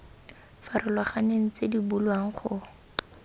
farologaneng tse di bulwang go